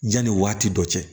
Janni waati dɔ cɛ